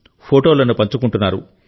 ఫోటోలు పంచుకుంటున్నారు